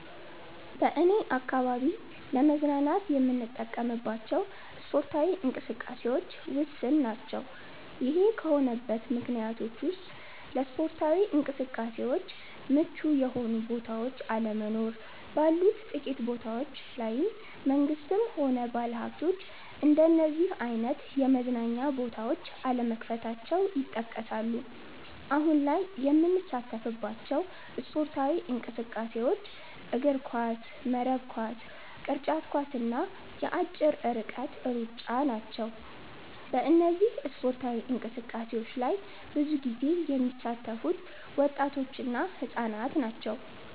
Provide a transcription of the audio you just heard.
በኔ አካባቢ ለመዝናናት የምንጠቀምባቸው ስፓርታዊ እንቅስቃሴዎች ውስን ናቸ። ይሄ ከሆነበት ምክንያቶች ውስጥ ለስፓርታዊ እንቅስቃሴዎች ምቹ የሆኑ ቦታዎች አለመኖር፣ ባሉት ጥቂት ቦታዎች ላይም መንግስትም ሆነ ባለሀብቶች እንደነዚህ አይነት የመዝናኛ ቦታዎች አለመክፈታቸው ይጠቀሳሉ። አሁን ላይ የምንሳተፍባቸው ስፖርታዊ እንቅስቃሴዎች እግርኳስ፣ መረብ ኳስ፣ ቅርጫት ኳስ እና የአጭር ርቀት ሩጫ ናቸው። በእነዚህ ስፓርታዊ እንቅስቃሴዎች ላይ ብዙ ጊዜ የሚሳተፉት ወጣቶች እና ህፃናት ናቸው።